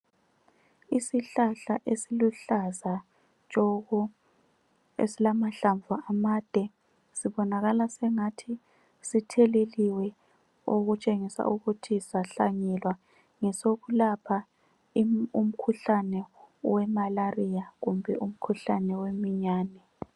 Isihlahla esiluhlaza tshoko esilamahlamvu amade .Sibonakala sengathi sitheleliwe okutshengisa ukuthi sahlanyelwa .Ngesokulapha umkhuhlane wemalaria kumbe umkhuhlane wemiyane.